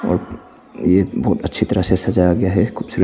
और ये बहोत अच्छी तरह से सजाया गया है खूबसूरत--